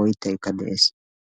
oyttaykka de"es.